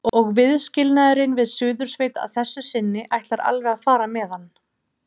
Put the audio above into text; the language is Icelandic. Og viðskilnaðurinn við Suðursveit að þessu sinni ætlar alveg að fara með hann.